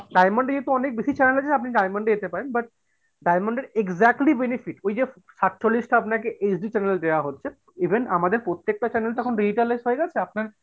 diamond এ যেহেতু অনেক বেশি channel আছে আপনি diamond এ যেতে পারেন but diamond এর exactly benefit ঐযে সাতচল্লিশ টা আপনাকে HD channel দেয়া হচ্ছে even আমাদের প্রত্যেকটা channel তো এখন আপনার,